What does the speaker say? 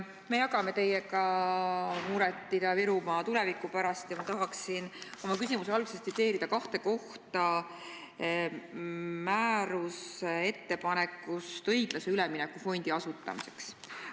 Me jagame teiega muret Ida-Virumaa tuleviku pärast ja ma tahaksin oma küsimuse alguses tsiteerida kahte kohta määruse ettepanekust õiglase ülemineku fondi asutamiseks.